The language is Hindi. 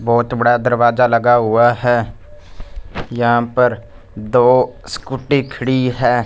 बहोत बड़ा दरवाजा लगा हुआ है यहां पर दो स्कूटी खड़ी है।